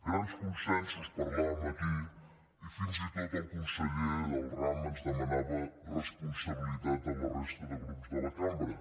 grans consensos parlàvem aquí i fins i tot el conseller del ram ens demanava responsabilitat a la resta de grups de la cambra